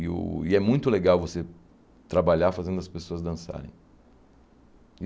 Eu e é muito legal você trabalhar fazendo as pessoas dançarem.